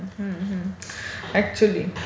हा, हा. अकचुयली.